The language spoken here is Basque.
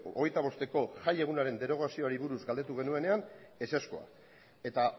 hogeita bosteko jaiegunaren derogazioari buruz galdetu genuenean ezezkoa eta